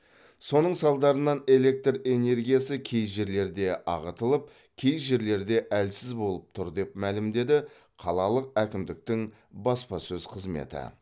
соның салдарынан электр энергиясы кей жерлерде ағытылып кей жерлерде әлсіз болып тұр деп мәлімдеді қалалық әкімдіктің баспасөз қызметі